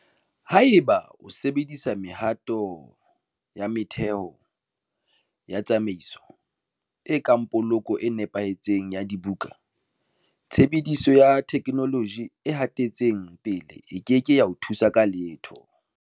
Haeba o sa sebedise mehato ya motheho ya tsamaiso, e kang poloko e nepahetseng ya dibuka, tshebediso ya theknoloji e hatetseng pele e ke ke ya o thusa ka letho.